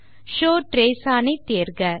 show trace one ஐ தேர்க